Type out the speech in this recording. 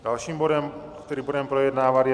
Dalším bodem, který budeme projednávat, je